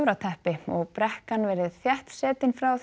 töfrateppi og brekkan verið þétt setin frá því